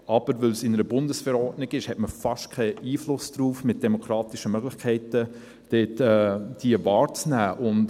Weil es aber in einer Bundesverordnung ist, hat man mit demokratischen Möglichkeiten fast keinen Einfluss darauf, diese wahrzunehmen.